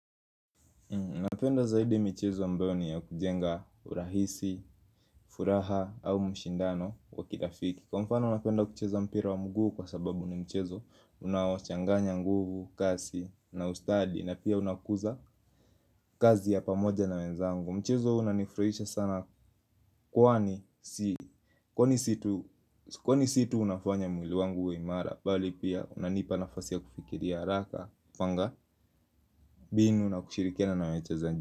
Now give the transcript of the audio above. Napenda zaidi michezo ambayo ni ya kujenga urahisi, furaha au mshindano wa kirafiki. Kwa mfano napenda kucheza mpira wa mguu kwa sababu ni mchezo unaochanganya nguvu, kasi na ustadi. Na pia unakuza kazi ya pamoja na wenzangu. Mchezo huu unanifurahisha sana kwani si kwaani situ unafanya mwili wangu wa imara. Bali pia unanipa nafasi ya kufikiria haraka, kupanga mbinu na kushirikiana nawachezaji.